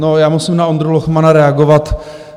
No, já musím na Ondru Lochmana reagovat.